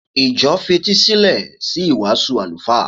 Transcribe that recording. Ìjọ fetísílẹ̀ sí ìwàásù àlùfáà.